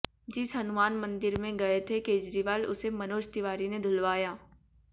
जिस हनुमान मंदिर में गए थे केजरीवाल उसे मनोज तिवारी ने धुलवाया